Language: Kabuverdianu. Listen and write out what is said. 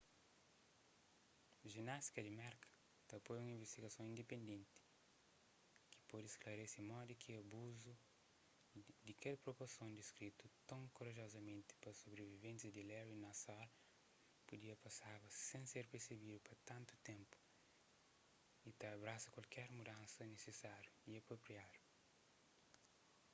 jinástika di merka ta apoia un invistigason indipendenti ki pode sklarese modi ki abuzu di kel proporson diskritu ton korajozamenti pa sobriviventis di larry nassar pudia pasaba sen ser persebedu pa tantu ténpu y ta abrasa kualker mudansa nisisáriu y apropriadu